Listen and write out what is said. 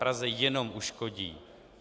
Praze jenom uškodí.